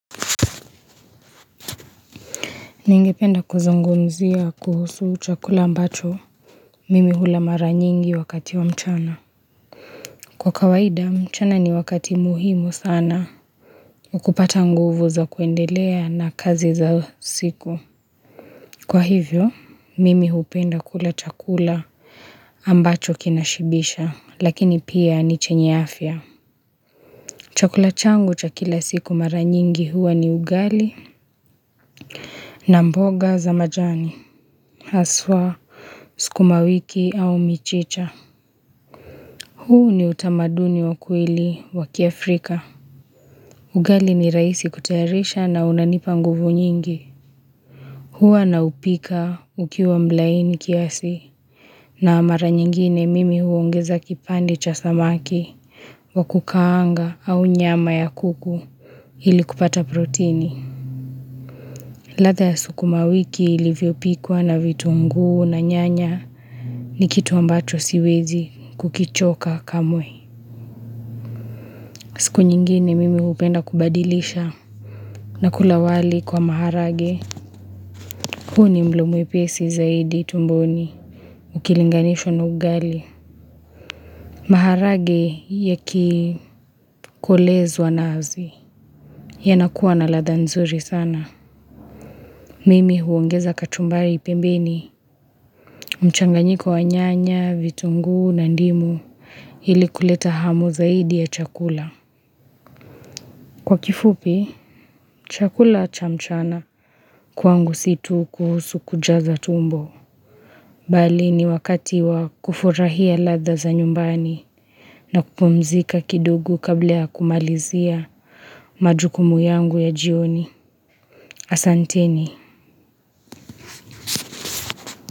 Ningependa kuzungumzia kuhusu chakula ambacho mimi hula mara nyingi wakati wa mchana Kwa kawaida mchana ni wakati muhimu sana kupata nguvu za kuendelea na kazi za siku Kwa hivyo mimi hupenda kula chakula ambacho kinashibisha lakini pia ni chenye afya chakula changu cha kila siku mara nyingi huwa ni ugali na mboga za majani haswa sukuma wiki au michicha huu ni utamaduni wa kweli wa kiafrika ugali ni rahisi kutayarisha na unanipa nguvu nyingi huwa naupika ukiwa mlaini kiasi na mara nyingine mimi huongeza kipande cha samaki wa kukaanga au nyama ya kuku ili kupata proteni ladha ya sukuma wiki ilivyopikwa na vitunguu na nyanya ni kitu ambacho siwezi kukichoka kamwe siku nyingine mimi hupenda kubadilisha na kula wali kwa maharage huu ni mlo mwepesi zaidi tumboni Ukilinganishwa na ugali maharage yakikolezwa nazi yanakuwa na ladha nzuri sana Mimi huongeza kachumbari pembeni mchanganyiko wa nyanya, vitunguu na ndimu ili kuleta hamu zaidi ya chakula Kwa kifupi, chakula cha mchana kwangu si tu kuhusu kujaza tumbo. Bali ni wakati wa kufurahia ladha za nyumbani na kupumzika kidogo kabla ya kumalizia majukumu yangu ya jioni asanteni.